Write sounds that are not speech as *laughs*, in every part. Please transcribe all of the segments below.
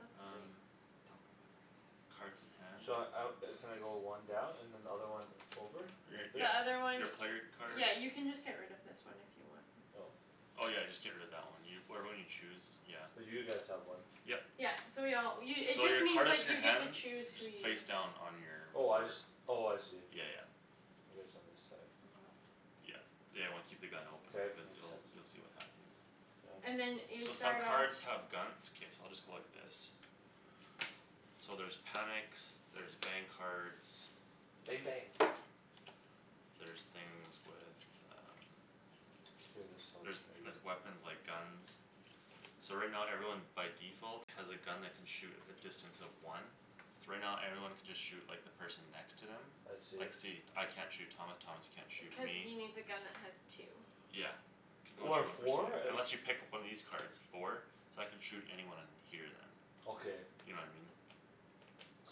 That's sweet. Um Don't remember any of it. Cards in hand. Should I out, uh can I go one down and another one over? Your, Th- Like this? the your, other one your player card. Yeah, you can just get rid of this one if you want. Oh. Oh, yeah, just get rid of that one. Whatever one you choose, yeah. Cuz you guys have one. Yep. Yeah, so we all, you it So just your card means, is in like, your you get to hand. choose who Just you face down on your Oh, I board. just, oh, I see. Yeah, yeah. It is on this side. Yeah, yeah, you wanna keep the gun open K, it because makes you'll, sense. you'll see what happens. Yeah. And then you So some start off cards have guns, it's okay, so I'll just go like this. So there's panics, there's bang cards Bang bang. There's things with um K, this helps There's, maybe. there's weapons, like, guns. So right now everyone by default has a gun that can shoot at a distance of one. So right now everyone can just shoot, like, the person next to them. I Like, see. see, I can't shoot Thomas, Thomas can't shoot Cuz me. he needs a gun that has two. Yeah. You can only Or a shoot one person with four? it, Like unless you pick up one of these cards. Four? So I can shoot anyone here then. Okay. You know what I mean?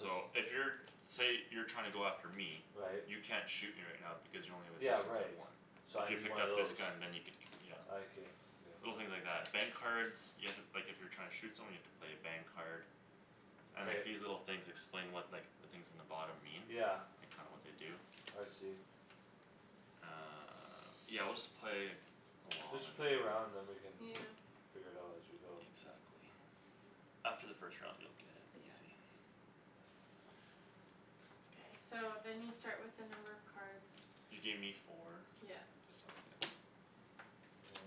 So So if you're, say you're trying to go after me. Right. You can't shoot me right now because you only have a Yeah, distance of right, one. so So I if you need picked one of up this those. gun then you could, yeah. I can, okay. Little things like that. Bang cards You have to, like, if you're trying to shoot someone you have to play a bang card. And, K. like, these little things explain what, like The things in the bottom mean. Yeah. Like, kinda what they do. I see. Uh, yeah, we'll just play along Just and then play a round then we can Yeah. Yeah. figure it out as we go. Exactly. After the first round you'll get it, Yeah. easy. K, so then you start with the number of cards You gave me four. Yeah. This'll do.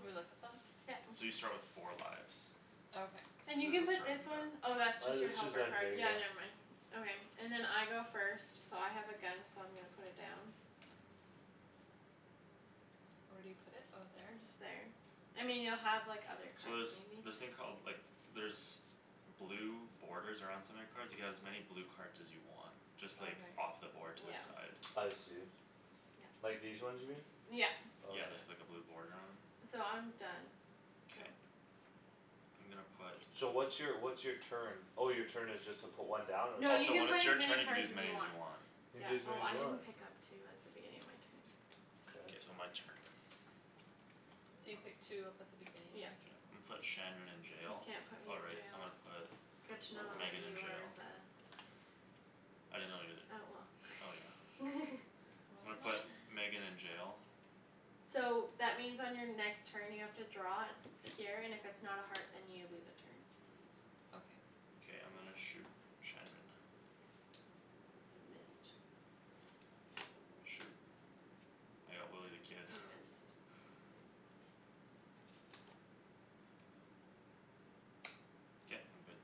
Do we look at them? Yeah. So you start with four lives. Okay. And you You can guys'll put start this one on that. Oh, that's just Uh your it's just helper right card, there, yeah, yeah. never mind. Okay, and then I go first So I have a gun, so I'm gonna put it down. Where do you put it? Oh, there? And just there. I mean, you'll have, like, other So cards, there's maybe. this thing called, like, there's Blue borders around some of your cards. You can have as many blue cards as you want. Just like Okay. off the board to the Yeah. side. I see. Yeah. Like these ones here? Yeah. Okay. Yeah, they have, like, a blue boarder on 'em. So I'm done, so K. I'm gonna put So what's your, what's your turn? Oh, your turn is just to put one down? Or No, Oh, you so can when it's play as your many turn you can cards use as as you many as want. you want. You can Yeah. do as many Oh, as I you didn't want? Yeah. pick up two at the beginning of my turn. K, so Okay. my turn. So you pick two up at the beginning of your Yep. Yeah. turn? I'mma put Shandryn in You jail. can't put Oh, me in right, so I'm jail. gonna put Good to know that Megan in you are jail. the I didn't know you're Oh, the, oh, yeah. well. *laughs* I'm What gonna am put I? Megan in jail. So that means on your next turn you have to draw Here and if it's not a heart then you lose a turn. Okay. K, I'm gonna shoot Shandryn. You missed. Shoot, I got Willy the Kid. You missed. K, I'm good.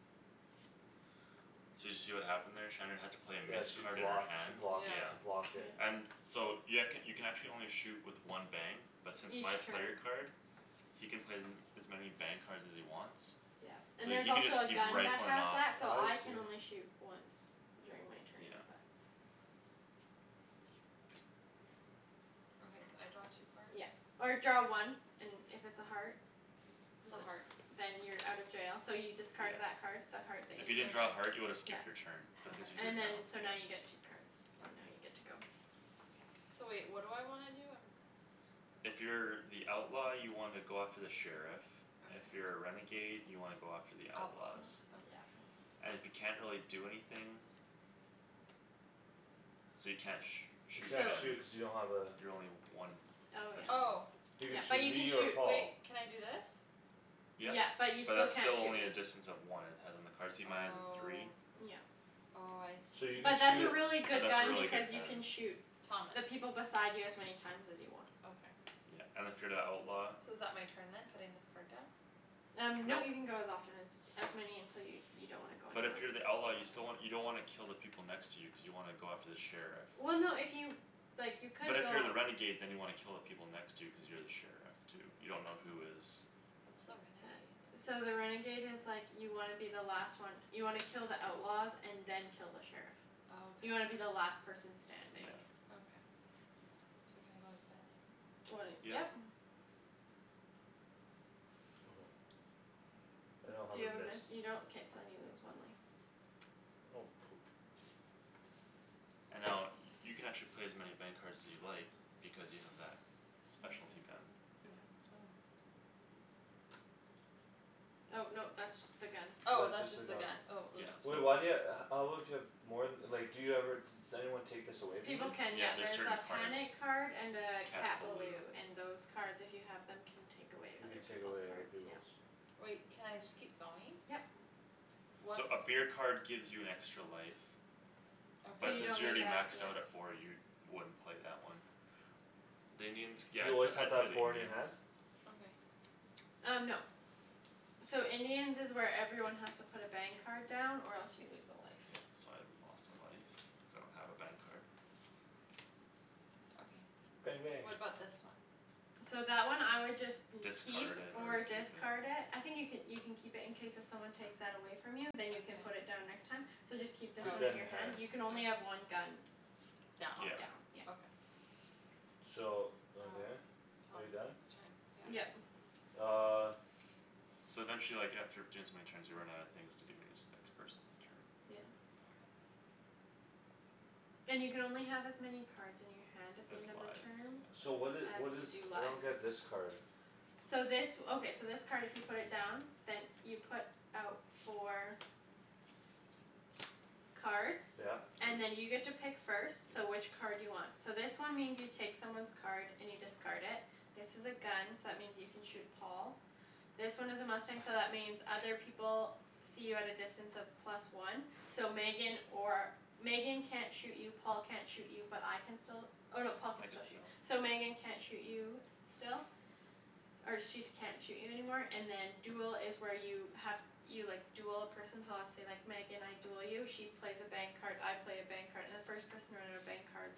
So did you see what happened there? Shandryn had to play a Yeah, miss she card in her blocked, she hand, blocked, yeah. she Yeah. blocked it. Yeah. And so you, I could, you can actually only shoot with one bang But since Each my player turn. card He can play them as many bang cards as he wants. Yeah. So And there's he can just also a keep gun that rifling has off. that so I I can see. only shoot once during my turn Yeah. but Okay, so I draw two cards? Yeah, or draw one. And if it's a heart It's a heart. *noise* Then you're out of jail, so you discard Yeah. that Card. the heart that If you you didn't just. draw a heart you would've yeah. skipped your turn, but since you Okay. drew it And now, then yeah. so now you get two cards and now you're Okay. good to go. So wait, what do I wanna do? I'm If you're the outlaw you wanna go after the sheriff. If Okay. you're a renegade you wanna go after the The outlaws. outlaws, Oops, yeah. okay. And if you can't really do anything So you can't sh- You shoot can't So Shan. shoot cuz you don't have a You're only one Oh distance. Oh. yeah, You yeah, could but shoot you can me or shoot. Paul. Wait, can I do this? Yep, Yeah, but you but still that's can't still shoot only me. a distance of one. It has on the card. See, mine has a three? Oh. Yeah. Oh, I So see. you But could Yeah, but that's a shoot really good that's a gun really because good you can gun. shoot Thomas. The people beside you as many times as you want. Okay. Yeah, and if you're the outlaw So is that my turn then? Putting this card down? Um nope, you can go as often as As many until you, you don't wanna go But anymore. if you're the outlaw you still wan- you don't wanna kill the people next to you cuz you wanna go after the sheriff. Well, no if you, like, you But could if you're go the renegade then you wanna kill the people next to you cuz you're the sheriff too. You dunno who is What's the That, renegade? so the renegade is like You wanna be the last one. You wanna kill the outlaws and then kill the sheriff. Oh, okay. You wanna be the last person Yeah. standing. Okay. So can I go like this? When it, Yep. yep. *noise* I don't have Do you a have a miss. miss? You don't? K, so then you lose one life. Oh, poop. And now, uh, you can actually play as many bang cards as you like Because you have that *inaudible* Bang, specialty gun. *noise* go. Oh no, that's just the gun. Oh, That's that's just the just the gun. gun, oh, Yeah, oops. Wait, no. why do you ha- how would you have More th- like, do you ever just Anyone take this away from you? People can, Yeah, yeah, there's there's certain a cards. panic card and a Cat Cat balou. balou and those cards if you have Them can take away You other can take peoples' away other cards, yeah. peoples'. Wait, can I just keep going? Yep. What's So a beer card gives you an extra life. Okay. So But you since don't you're need already that, maxed yeah. out at four you wouldn't play that one. The Indians, yeah, You I'd p- always have I'd to have play the four in your Indians. hand? Okay. Um, no. So Indians is where everyone has to put a bang card down or else you lose a life. Yeah, so I lost a life cuz I don't have a bang card. Bang Okay, bang. what about this one? So that one I *noise* would just You'd keep Discard it or or use it. discard it. I think you could, you can keep it in case if someone takes that away From you then you can put Okay. it down next time. So just keep Oh, this Keep one that in in your your okay. hand. hand; you can only have one gun. Down. On Yeah. down, yeah. Okay. So, Now okay, it's are you done? Thomas's turn, yeah. Yeah. Yep. Uh. So then she, like, after doing so many turns you run out of things to do and then it's the next person's turn. Yeah. Okay. And you can only have as many cards in your hand at the Has end of the lives, turn so. So what did, As what you is, do I don't lives. get this card. So this, *noise* okay, so this card if you put it down Then you put out four Cards Yeah. And then *noise* you get to pick first, so which card do you want? So this one means you take someone's card and you discard it. This is a gun so that means you can shoot Paul. This one is a mustang so that means other people See you at a distance of plus one. So Megan or, Megan can't shoot you Paul can't shoot you but I can still Oh no, Paul can I can still shoot, still. so Megan can't shoot you still Or she's can't shoot you anymore and then duel is where you have You, like, duel a person so let's say, like, Megan I Duel you she plays a bang card, I play a bang card and the first person to run out of bang cards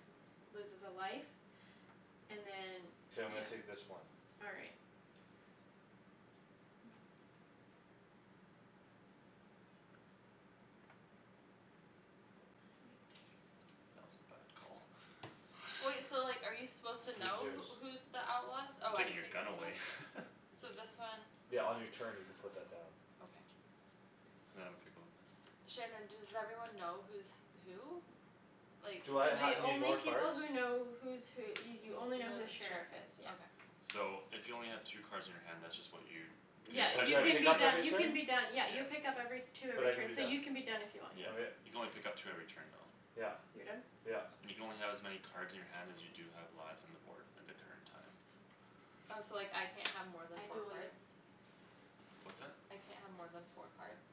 Loses a life And then, K, I'm yeah. gonna take this one. All right. That was a bad Wait, call. *laughs* so like are you supposed to Who's know yours? who, who's The outlaws? I'm Oh, I taking your take gun this one? away. *laughs* So this one Yeah, on your turn you could put that down. Okay. Now I'm gonna pick one *inaudible* Shandryn, does everyone know who's who? Like, Do I ha- like The need only more people cards? who know who's who y- You you only know know who the the sheriff sheriff is, is, yeah. okay. So if you only have two cards in your hand that's just what you Cuz you Yeah. And play uh it do You so I many can pick be up turns every done, you can turn? be done. Yeah, Yeah. you pick up every Two But every I can be turn so you done. can be done if you want, yeah. Yeah, Okay. you can only pick up two every turn though. Yep, You're done? yep. You can only have as many cards in your hand as you do have lives on the board end of turn time. Oh, so, like, I can't have more than I four duel you. cards? What's that? I can't have more than four cards?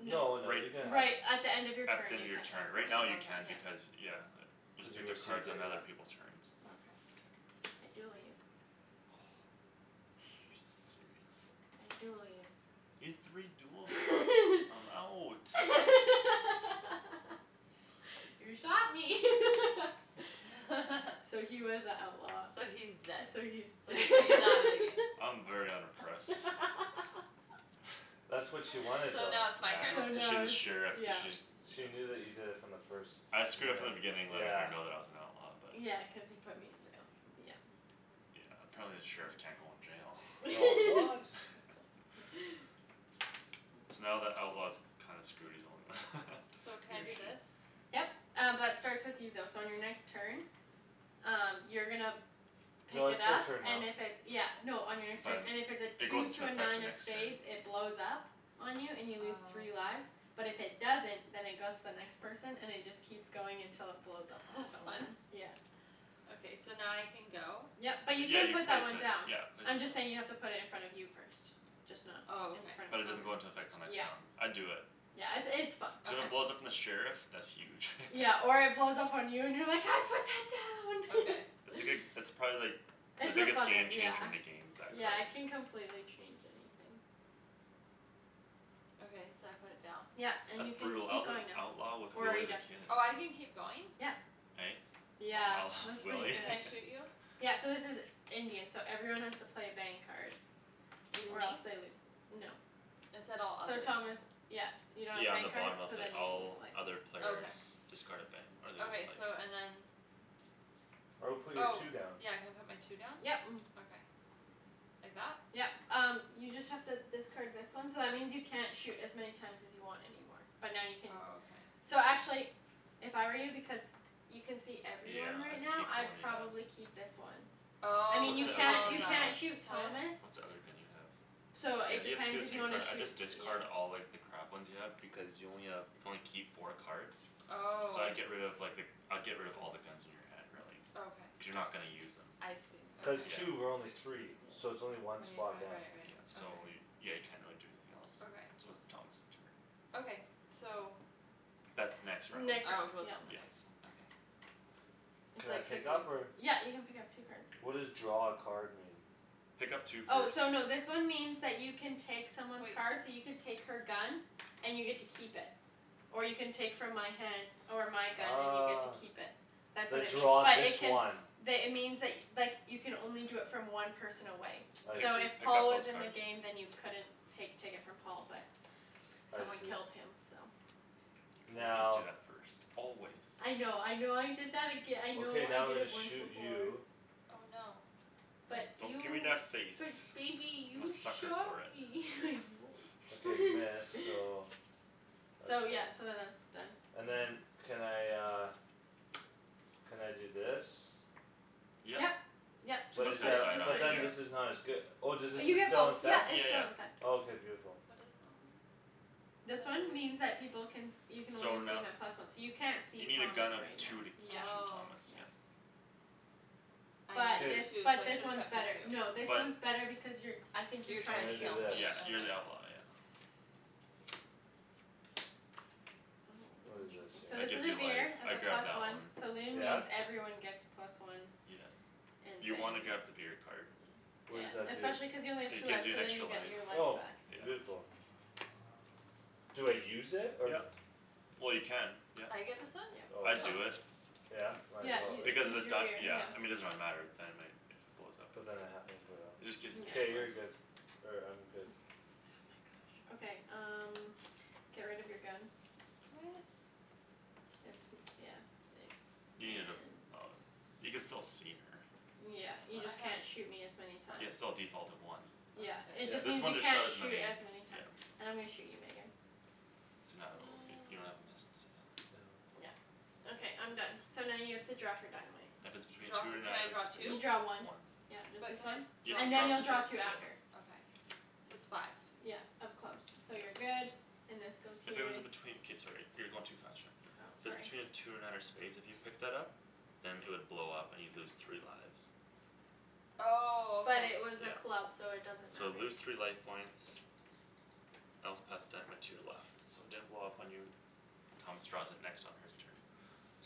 Y- No. No, no, you can Right have Right, at the end of your At the turn end you of your can't have turn. more Right now than, you can yeah. Okay. because, yeah. You can Cuz you pick up received cards on it, other yeah. people's turns. Mm. Okay. I duel you. *laughs* You serious? I duel you. You had three duels there? *laughs* I'm out. *laughs* You shot me. *laughs* *laughs* So he was a outlaw. So he's dead. So he's So d- he, he's out of the game. I'm very unimpressed. *laughs* That's what she *laughs* wanted So though. now Yeah, it's my I So know, turn? cuz now she's a it's, sheriff, cuz yeah. she's, yeah. She knew that you did it from the first I screwed up from the minute. beginning letting her Yeah. know that I was an outlaw but Yeah, cuz he put me in jail, yeah. Yeah, apparently the sheriff can't go in Oh, jail. what? *laughs* *laughs* So now the outlaw's kinda screwed; he's the only one, So *laughs* can he I or do she. this? Yep. Um b- that starts with you though so on your next turn Um you're gonna No, pick it it's her up turn now. and if it's, yeah No, on your next So turn, then and if it's a it two goes into to a effect nine the of next turn. spades it blows up On you and you lose three Oh. lives. But if it doesn't, then it goes to the next person and it just Keeps going until it blows up on That's fun. someone, yeah. So now I can go? Yep, but you Yeah, can you put that place one it. down. Yeah, place it I'm just saying you have down. to put it in front of you first. Just not Oh, in okay. front But of it doesn't Thomas. go into effect till next Yep round. I'd do it. Yeah, it's, it's fun. Cuz if it Okay. blows up on the sheriff, that's huge. Yeah, *laughs* or it blows up on you and you're like, "I put that Okay. It's down!" a good, *laughs* it's probably like The It's a biggest funner, game changer yeah, in the games, that yeah, it card. can complete change anything. Okay, so I put it down? Yep. And That's you can brutal. I keep was an going now. outlaw with Or are Willy you the done? Kid. Oh, I can keep going? Yeah. Hey? I was an Yeah, outlaw with that's pretty Willy? *laughs* Can good. I shoot you? Yeah, so this is Indian, so everyone has to play a bang card. Even Or me? else they lose, no. It said all So others. Thomas, yeah, you don't have a Yeah, on bang the card? bottom it'll So say, then you lose "All a life. other players Okay. Discard a bang or lose a Okay, so and life." then I would put your Oh, two down. yeah, can I put my two down? Yep. *noise* Okay. Like that? Yep. Um you just have to discard this one So that means you can't shoot as many times as you want anymore, but now you can Oh, okay. So actually if I were you, because You can see Yeah, everyone right I'd now, keep the I'd one you have. probably keep this one. I Oh, mean, What's you cuz the other can't, you thing you Paul's can't have? out. shoot Thomas *inaudible* What's the other thing you have? So Yeah, it you have two depends of the if you same wanna card. I'd shoot, just you know. discard all, like, the crap ones you have because you only have, you can only keep four cards. So Oh. I'd get rid of, like, the, I'd get rid of all the guns in your hand, really. Okay. Cuz you're not gonna use them. I see, okay. Cuz Yeah. two. We're only three. So it's only one Right, spot right, down. right, Yeah, right. so Okay. y- yeah, you can't really do anything else. Okay. So it's Thomas' turn. Okay, so That's next round. Oh, it Next round, goes yep. on the Yes. next one, okay. It's Can I like pick up or? *inaudible* yep, you can pick up two cards. What does draw a card mean? Pick up two Oh, cards. so no, this one means that you can take someone's Wait. card so you could take her gun And you get to keep it or you can take from my hand Or my gun and you get to *noise* keep it. That's The, what it means draw but it this can one. The, it means, like, like you can only do it from one person away. I Pick, So see. if pick Paul up was those in the cards. game then you couldn't pake, take it from Paul but I Someone see. killed him, so. You always do Now that first. Always. I know, I know I did that aga- I know Okay, I now I'm did gonna it once shoot before. you. Oh, no. Nice. But Don't give me you, that face. but baby, I'm a you sucker shot for it. me *laughs* Okay, you. miss, so *laughs* that's So fine. yeah, so then that's done. And then can I uh Can I do this? Yep. Yep, so Just But put just it is to put the it, side that, just on, put but it then here. yeah. this is not as good Oh, does Uh this is you st- get still both; in - yep, fect? it's Yeah, still yeah. in effect. Oh, k, beautiful. What is that one? This one *inaudible* means that people can You can only So see no- 'em at plus one. So you can't You see need a gun Thomas of right two now. to Yeah, shoot Oh. Thomas, yeah. yeah. I But K. this, needed two so I but this should have one's kept better. No, the two. this But one's better because you're I think you're You're I'm trying trying to gonna to do shoot kill this. me. me, Yeah, you're okay. the outlaw, yeah. What is this Oh, interesting. So That this here? is gives a you life, beer, it's a I'd grab plus that one. one. Saloon Yeah? means everyone gets plus one. Yeah. And You wanna bang grab the is beer card. Yeah, What does that do? especially cuz you only have two It gives lives you so an then extra you life. get your life Oh, back. Yeah. beautiful. Do I use it or? Yep. Well, you can, yep. I get this one? Yep. Oh I I'd Oh. see. do it. Yeah? Might Yeah, as well, you, right? Because of this the is your beer, dy- yeah yeah. I mean, it doesn't really matter, the dynamite If it blows up in But then there. I have emporio. It just gives an Yeah. extra K, you're life. good. Or I'm good. Okay, um get rid of your gun. What? It's m- yeah. *noise* You need a, And oh, you can still see her. Yeah, you But I just have can't shoot me as many Yeah, times. it's *noise* still a default of one. Yeah, Okay. it Yeah. just This means one you just shot can't as shoot many, as many times. yeah. And I'm gonna shoot you, Megan. So now it'll be, you don't have a miss, No. so. *noise* Yeah, okay I'm done. So now you have to draw for dynamite. If it's between Draw two fo- or can nine I draw of You two? spades. draw one. One. Yep, just But this can I one. You have draw And then you'll to draw draw for two this after. *inaudible* Okay, so it's five. Yeah, of clubs, so you're Yep. good. And this goes If here. it was between, k, sorry, you're going too fast, Shan. Oh, So sorry. between two or nine of spades, if you picked that up Then it would blow up and you'd lose three lives. Oh, But okay. it was a Yeah. club, so it doesn't So matter. lose three life points Else pass dynamite to your left. So it didn't blow up on you. Thomas draws it next on his turn.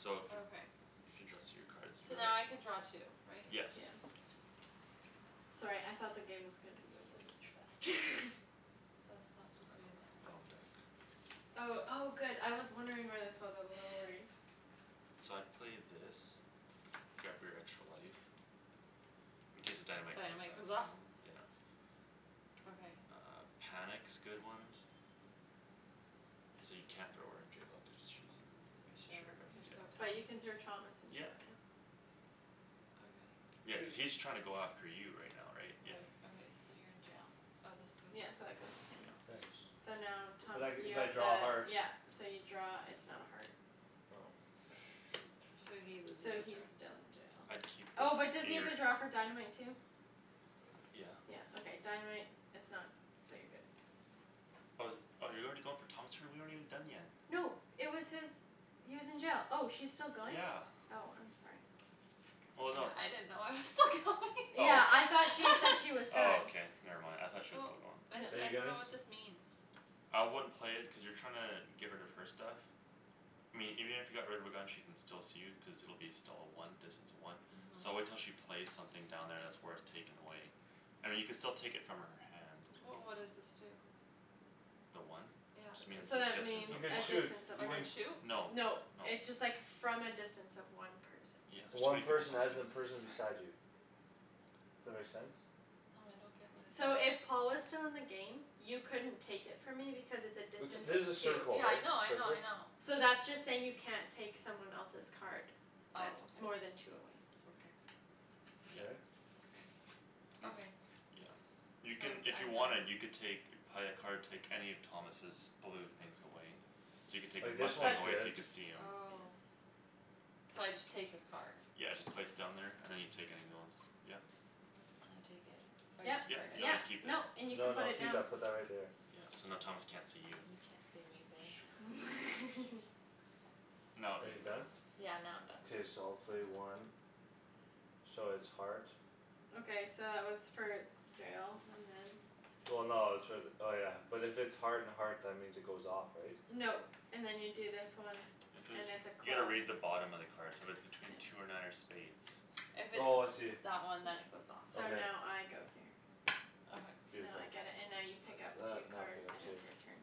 So if you, Okay. if you draw So now I *inaudible* can draw two, right? K. Yes. Yeah. *inaudible* Sorry, I thought the game was gonna be This over is much faster. *laughs* That's I not supposed to be dunno, in there, wrong right? deck. Oh, oh, good I was wondering where this was; I was a little worried. So I'd play this. Grab your extra life. In case the dynamite comes Dynamite back goes the other off? way, yeah. Okay. Uh, panic's good one. So you can't throw her in jail because she's Sure, Sheriff, can I throw yeah. But you can throw Thomas Thomas in jail? in Yep. jail, yeah. Okay. Yeah, cuz Cuz he's trying to go after you right now, right? Yeah. Right, okay. So you're in jail. Oh, this Yeah, goes so that goes to him. Yeah. Thanks. So now, But Thomas I, you if I have to, draw a heart yeah. So you draw, it's not a heart. Oh. So Shoot. So he loses So a he's turn. still in jail. I'd keep this Oh, but does he in have your to draw for dynamite too? Yeah. Yeah, okay, dynamite is not, so you're good. Oh, is it, oh, you're already going for Thomas' turn? We aren't even done yet. No, it was his He was in jail; oh, she's still going? Yeah. Oh, I'm sorry. Well, no I didn't it's know I was still going. Oh. Yeah, *noise* I thought she said he was *laughs* Oh, done. okay, never mind, I thought she was Well. still going. *noise* Are I, I you dunno guys what this means. I wouldn't play it cuz you're trying to get rid of her stuff. I mean, even if you got rid of her gun she can still see you cuz it'll be still a one, distance of one. So Mhm. wait till she plays something down there that's worth taking away. I mean, you could still take it from her hand. But what does this do? The one? It just Yeah. means So a that distance means You of could a one. shoot. distance of You I one. can can shoot? No, no. No, it's just, like, from a distance of one person. Yeah, there's too One many people person talking. as in Sorry. person beside you. That make sense? No, I don't get what it So does. if Paul was still in the game You couldn't take it from me because it's a It's, distance this is a of two. circle Yeah, I right? know, I know, I Circle? know. So that's just saying you can't take someone else's card That's Oh, more than okay. two away. Okay. Yeah. K. Okay. *noise* Okay. Yeah. So You can, I'm d- if you I'm wanted done. you can take You'd play a card, take any of Thomas's blue things away. So you could take his Like this mustang But one's away so good. you could see him. Oh. So I just take the card. Yeah, Okay. just place it down there and then you take any *noise* other ones. Yeah. Can I take it? Or I Yep, Yep, discard it? no you yep, keep it. nope, and you can No, put no, it keep down. that put that right there. Yeah, so now Thomas can't see you. You can't see me, babe. *laughs* No, Are you you can go. done? Yeah, now I'm done. K, so I'll play one. So it's heart. Okay, so that was for jail and then Well, no, it's for the, oh, yeah, but if it's Heart and heart, that means it goes off, right? No. And then you do this one If And it's, it's a you gotta club. read the bottom of the card. So if it's between two or nine or spades If it's Oh, I see. that one then it goes off. So Okay. now I go here. Okay. Now I Beautiful. get it and now you pick That's up that, two now I pick cards up and two. it's your turn.